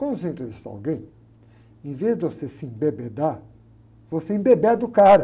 Quando você entrevistar alguém, em vez de você se embebedar, você embebeda o cara.